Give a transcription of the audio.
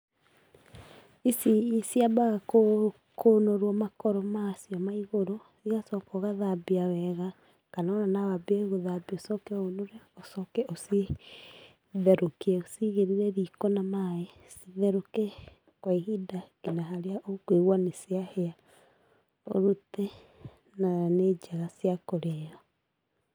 Ici ciambaga kũnũrũo makoro macio maigũrũ, igacoka ũgathambia wega kana ona nowambie gũthambia ũcoke ũnũre, ũcoke ũcitherũkie ũcigĩrĩre rĩko na maĩ. Citherũke kwa ihinda ngina harĩa ũkũigua nĩciahĩa. ũrute, na nĩ njega cia kũrĩa.